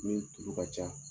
Min tulu ka ca